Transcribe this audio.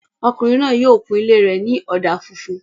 Ọkùnrin náà yóò kun ilé rẹ̀ ní ọ̀dà funfun